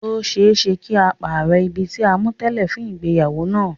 Ó ṣeé ṣe kí á pàrọ̀ ibi tí a mú tẹ́lẹ̀ fún ìgbéyàwó náà.